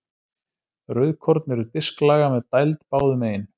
Rauðkorn eru disklaga með dæld báðum megin.